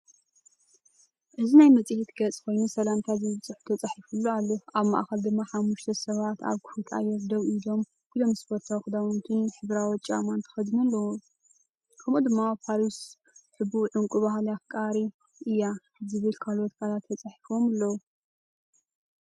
እዚ ናይ መጽሔት ገጽ ኮይኑ፡“ሰላምታ”ዝብል ጽሑፍ ተጻሒፉሉ ኣሎ። ኣብ ማእከል ድማ ሓሙሽተ ሰባት ኣብ ክፉት ኣየር ደው ኢሎም ፡ኩሎም ስፖርታዊ ክዳውንትን ሕብራዊ ጫማን ተኸዲኖም ኣለዉ።”ከምኡ’ውን“ፓሪስ ሕቡእ ዕንቊ ባህሊ ኣፍሪቃ እያ”ዝብሉ ካልኦት ቃላት ተጻሒፎም ኣለዉ።